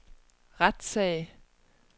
retssag